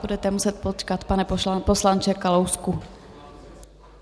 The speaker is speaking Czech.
Budete muset počkat, pane poslanče Kalousku.